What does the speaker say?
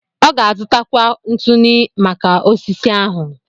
Ọ ga-azụtakwu ntụnụ maka osisi ahụ.